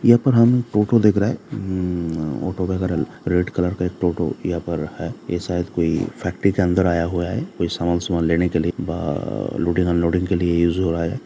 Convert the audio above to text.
यहाँ पर हम टोटो देख रहे है अम ऑटो वगैरह रेड कलर का एक टोटो यहाँ पर है ये शायद कोई फैक्ट्री के अंदर आया हुआ है कोई सामान सुमान लेने के लिए बा लोडिंग अनलोडिंग के लिए यूज हो रहा है।